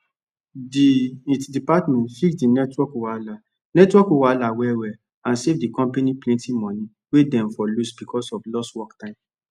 the it department fix the network wahala network wahala wellwell and save the company plenty money wey dem for lose because of lost work time